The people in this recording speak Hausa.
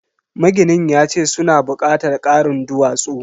Maginin yace suna bukatar karin duwatsu.